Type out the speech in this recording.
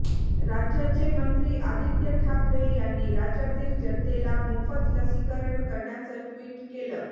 राज्याचे मंत्री आदित्य ठाकरे यांनी राज्यातील जनतेला मोफत लसीकरण करण्याचं ट्विट केलं